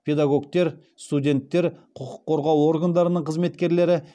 педагогтер студенттер құқық қорғау органдарының қызметкерлері